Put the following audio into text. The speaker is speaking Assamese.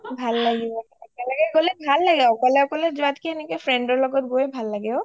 ভাল লাগিব একেলগে গ’লে ভাল লাগে অকলে অকলে যোৱাতকে friend ৰ লগত গলেই ভাল লাগে ঔ